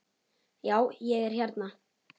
Já, ég er hérna.